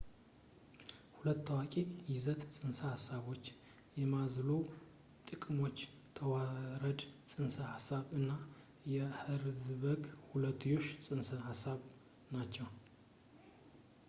ሁለት ታዋቂ የይዘት ፅንሰ ሐሳቦች የማዝሎው የጥቅሞች ተዋረድ ፅንሰ ሐሳብ እና የኸርዝበርግ ሁለትዮሽ ፅንሰ ሐሳብ ናቸው